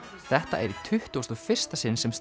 þetta er í tuttugasta og fyrsta sinn sem